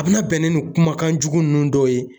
A bɛna bɛn ni nin kumakanjugu nunnu dɔw ye.